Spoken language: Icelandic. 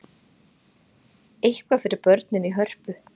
Eitthvað fyrir börnin í Hörpu